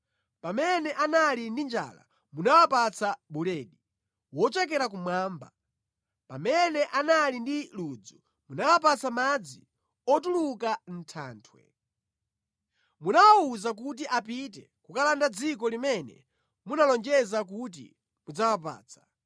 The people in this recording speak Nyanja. Pamene anali ndi njala munawapatsa buledi wochokera kumwamba. Pamene anali ndi ludzu munawapatsa madzi otuluka mʼthanthwe. Munawawuza kuti apite kukalanda dziko limene munalonjeza kuti mudzawapatsa.”